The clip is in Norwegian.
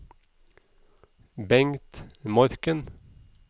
Bengt Morken